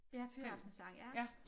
Ja fyraftenssang